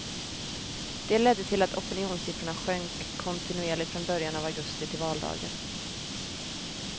De ledde till att opinionssiffrorna sjönk kontinuerligt från början av augusti till valdagen.